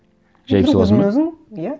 жайып саласың ба иә